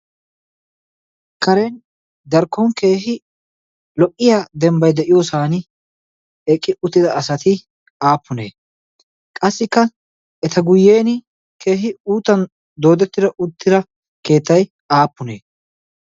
karen darkkon keehi lo77iya dembbai de7iyoosan eqqi uttida asati aappunee? qassikka eta guyyen keehi uutan doodettido uttida keettai aappunee?